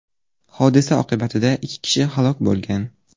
Hodisa oqibatida ikki kishi halok bo‘lgan.